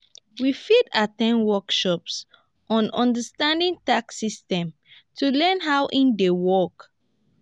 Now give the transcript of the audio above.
we fit at ten d workshops on understanding tax systems to learn how e dey work.